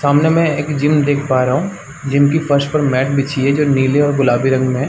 सामने में एक जिम देख पा रहा हूं जिम के फर्श पर मैट बिछी है जो नीले और गुलाबी रंग में है।